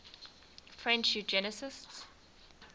french eugenicists